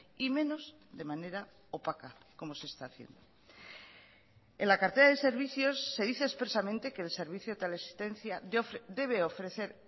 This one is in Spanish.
y menos de manera opaca como se está haciendo en la cartera de servicios se dice expresamente que el servicio de teleasistencia debe ofrecer